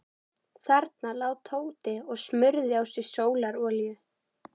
Þarna lá Tóti og smurði á sig sólarolíu.